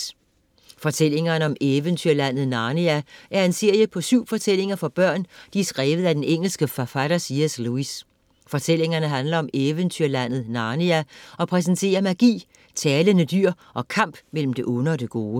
Fortællingerne om eventyrlandet Narnia er en serie på syv fortællinger for børn, de er skrevet af den engelske forfatter C.S. Lewis. Fortællingerne handler om eventyrlandet Narnia og præsenterer magi, talende dyr og kamp mellem det onde og det gode.